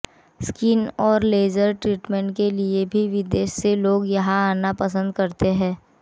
skin और laser treatment के लिए भी विदेश से लोग यहां आना पसंद करते हैं